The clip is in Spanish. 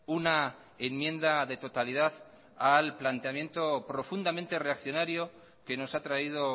una enmienda de totalidad al planteamiento profundamente reaccionario que nos ha traído